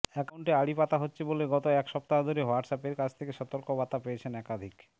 অ্যাকাউন্টে আড়ি পাতা হচ্ছে বলে গত এক সপ্তাহ ধরে হোয়াটসঅ্যাপের কাছ থেকে সতর্কবার্তা পেয়েছেন একাধিক